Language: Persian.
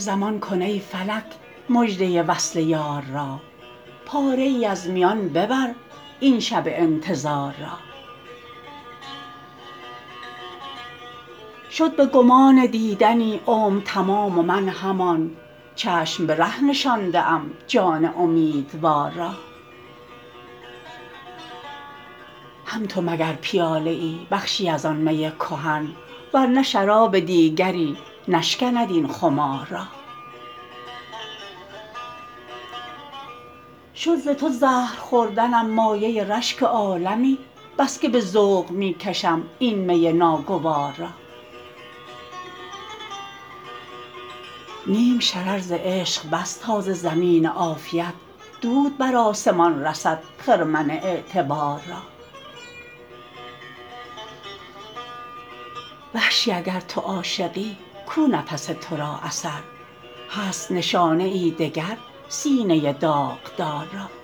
زمان کن ای فلک مژده وصل یار را پاره ای از میان ببر این شب انتظار را شد به گمان دیدنی عمر تمام و من همان چشم به ره نشانده ام جان امیدوار را هم تو مگر پیاله ای بخشی از آن می کهن ور نه شراب دیگری نشکند این خمار را شد ز تو زهر خوردنم مایه رشک عالمی بسکه به ذوق می کشم این می ناگوار را نیم شرر ز عشق بس تا ز زمین عافیت دود بر آسمان رسد خرمن اعتبار را وحشی اگر تو عاشقی کو نفس تورا اثر هست نشانه ای دگر سینه داغدار را